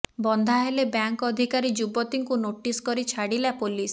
ବନ୍ଧା ହେଲେ ବ୍ୟାଙ୍କ ଅଧିକାରୀ ଯୁବତୀଙ୍କୁ ନୋଟିସ୍ କରି ଛାଡ଼ିଲା ପୋଲିସ